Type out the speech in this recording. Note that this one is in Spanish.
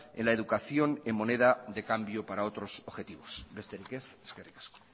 en la educación en moneda de cambio para otros objetivos besterik ez eskerrik asko